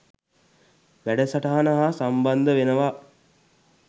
වැඩසටහන හා සම්බන්ද වෙනවා.